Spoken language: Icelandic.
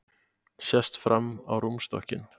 Sest fram á rúmstokkinn.